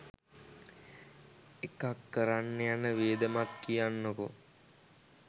එකක් කරන්න යන වියදමත් කියන්නකෝ